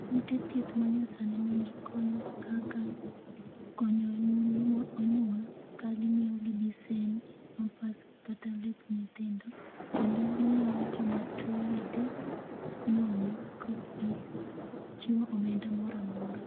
Ute thieth manyasani nigi kony kaka konyo mon ma onyuol ka gimiyogi bisen pampas kata lep nyithindo kendo gimiyo jomatuo yedhe nono ka okgi chiwo omenda mora mora